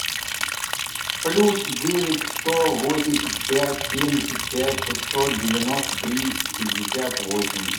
плюс девять сто восемьдесят пять семьдесят пять шестьсот девяносто три пятьдесят восемь